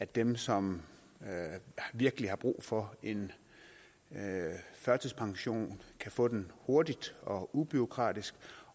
dem som virkelig har brug for en førtidspension kan få den hurtigt og ubureaukratisk